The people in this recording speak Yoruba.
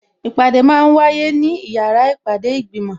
Ìpàdé máa ń wáyé ní yàrá ìpàdé ìgbìmò